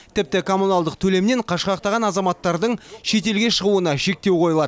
тіпті коммуналдық төлемнен қашқақтаған азаматтардың шетелге шығуына шектеу қойылады